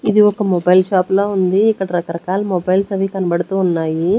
ఇది ఒక mobile shop ల ఉంది ఇక్కడ రకరకాల మొబైల్స్ అవి కనబడుతూ ఉన్నాయి.